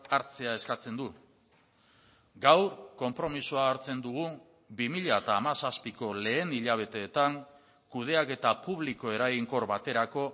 hartzea eskatzen du gaur konpromisoa hartzen dugu bi mila hamazazpiko lehen hilabetetan kudeaketa publiko eraginkor baterako